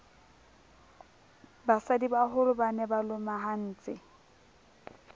basadibaholo ba ne ba lomahantse